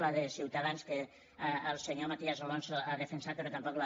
la de ciutadans que el senyor matías alonso ha defensat però tampoc la